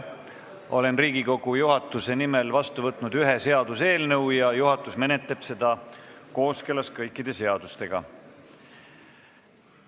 Olen Riigikogu juhatuse nimel vastu võtnud ühe seaduseelnõu ja juhatus menetleb seda kooskõlas kõikide seadustega.